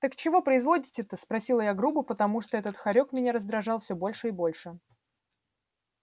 так чего производите-то спросила я грубо потому что этот хорёк меня раздражал все больше и больше